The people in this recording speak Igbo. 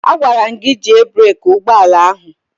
A gwara m gị jie breeki ụgbọala ahụ!